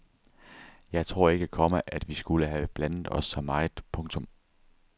Jeg tror ikke, komma at vi skulle have blandet os så meget. punktum